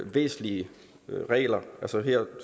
væsentlige regler her